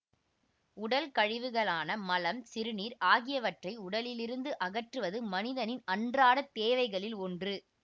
உடல் கழிவுகளான மலம் சிறுநீர் ஆகியவற்றை உடலிருந்து அகற்றுவது மனிதனின் அன்றாட தேவைகளில் ஒன்று